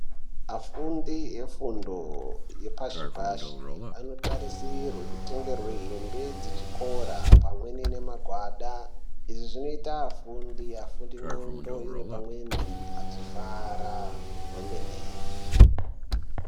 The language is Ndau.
Afundi efundo yepashi pasi anotarisirwe kutengerwe hembe dzechikora pamweni nemagwada, izvi zvinoita afundi afunde ndxondo dziri pamweni achifara kwemene.